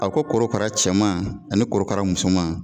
A ko korokara cɛman ani korokara musoman